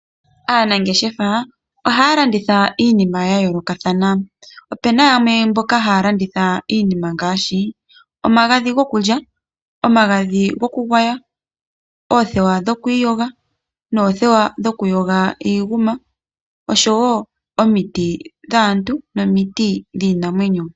Aanangeshefa ohaya landitha iinima ya yolokathana. Opena yamwe mboka haya landitha iinima ngaashi, omagadhi goku lya, omagadhi goku gwaya, oothewa dho kwiiyoga, noothewa dhoku yoga iinguma, oshowo omiti dhaantu nomiti dhiinamwenyo.